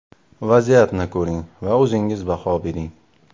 Vaziyatni ko‘ring va o‘zingiz baho bering.